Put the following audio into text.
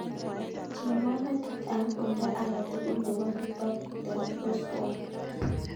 Cheng'wan metit ab oldo age tugul nebo kitabutab oswald